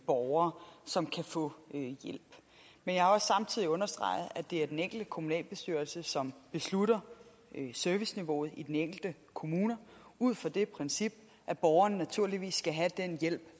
borgere som kan få hjælp men jeg har også samtidig understreget at det er den enkelte kommunalbestyrelse som beslutter serviceniveauet i den enkelte kommune ud fra det princip at borgeren naturligvis skal have den hjælp